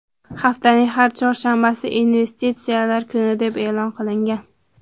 Haftaning har chorshanbasi investitsiyalar kuni deb e’lon qilingan.